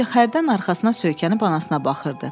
Ancaq hərdən arxasına söykənib anasına baxırdı.